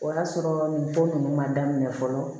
O y'a sɔrɔ nin ko ninnu man daminɛ fɔlɔ